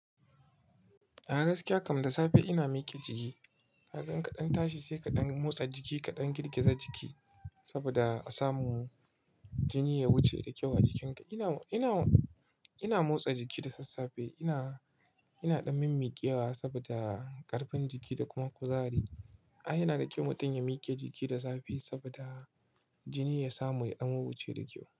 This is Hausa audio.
A gaskiya kam da safe ina mike jiki. Na gan kaɗan tashi sai kaɗan motsa jiki kaɗan girgiza jiki saboda a samu jini ya wuce da kyau a jikinka. Ina, ina, ina motsa jiki da sassafe. Ina, ina ɗan min miƙewa saboda ƙarfin jiki da kuma kuzari. Ai yana da kyau mutum ya mike jiki da zafi saboda jini ya samu ya ɗan wuce da kyau.